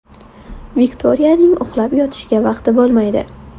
Viktoriyaning uxlab yotishga vaqti bo‘lmaydi.